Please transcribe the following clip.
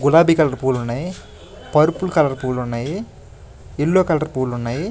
గులాబీ కలర్ పూలు ఉన్నాయి పర్పుల్ కలర్ పూలు ఉన్నాయి యెల్లో కలర్ పూలు ఉన్నాయి.